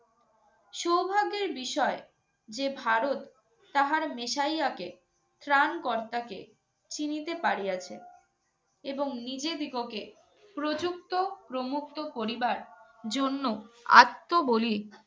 সৌভাগ্যের বিষয় যে ভারত তাহার মেসাইয়াকে, ত্রাণকর্তাকে চিনিতে পারিয়াছে। এবং নিজেদিগকে প্রযুক্ত প্রমুক্ত করিবার জন্য আত্মবলি